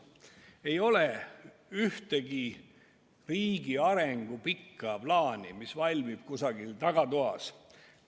Ei ole ühtegi riigi arengu pikka plaani, mis valmiks kusagil tagatoas.